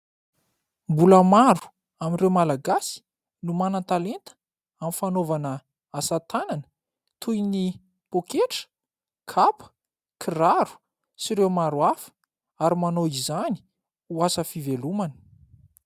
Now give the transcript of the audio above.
mbola maro amin'ireo malagasy no manan-talenta amin'ny fanaovana asatanana toy ny poketra kapa kiraro sy ireo maro hafa ary manao izany ho asa fivelomana